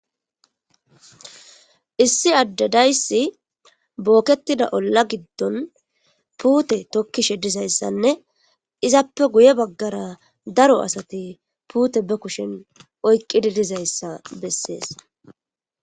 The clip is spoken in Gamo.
issi addedayssi bookettida olla giddon puute tokkishe dizayssanne izappe guye baggara daro asati puute be kushen oyqqidi dizayssa bessees